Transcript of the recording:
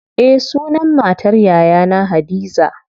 Eh sunan matar yayana hadiza.